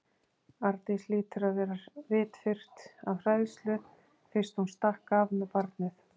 Arndís hlýtur að vera vitfirrt af hræðslu fyrst hún stakk af með barnið.